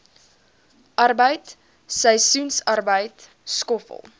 arbeid seisoensarbeid skoffel